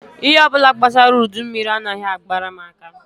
Ihe ọ bụla gbasara udummiri anaghị agara m aka